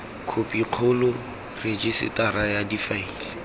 khophi kgolo rejisetara ya difaele